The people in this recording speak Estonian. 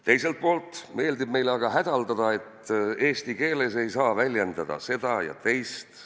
Teiselt poolt meeldib meile aga kurta, et eesti keeles ei saa väljendada seda ja teist.